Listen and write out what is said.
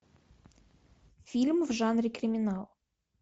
фильм в жанре криминал